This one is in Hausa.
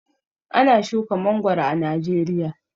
Ana shuka mangoro a Najeriya.